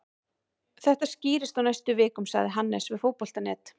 Þetta skýrist á næstu vikum, sagði Hannes við Fótbolta.net.